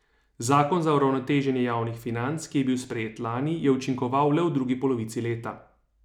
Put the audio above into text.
Zakon za uravnoteženje javnih financ, ki je bil sprejet lani, je učinkoval le v drugi polovici leta.